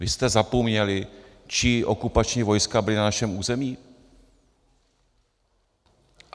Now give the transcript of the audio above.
Vy jste zapomněli, čí okupační vojska byla na našem území?